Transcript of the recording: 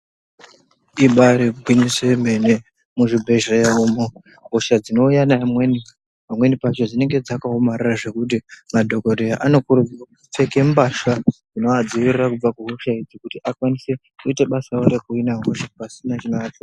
Ibari gwinyiso yemene, muzvibhedhlera umu, hosha dzinouya neamweni, pamweni pacho dzinenge dzakaomarara zvekuti madhokodheya anokuridzirwa kupfeke mbasha dzinoadziirira kubva kuhosha idzi kuti akwanise kuita basa rawo rekuhina hosha pasina chinoanesa.